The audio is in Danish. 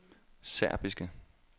serbiske